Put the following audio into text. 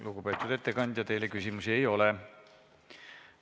Lugupeetud ettekandja, teile küsimusi ei ole.